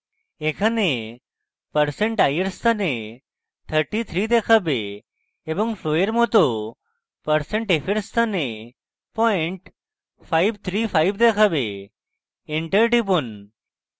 এখানে percent i % i এর স্থানে 33 দেখাবে এবং ফ্লোযের মত percent f % f এর স্থানে percent 535 0535 দেখাবে enter টিপুন